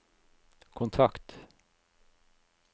kontakt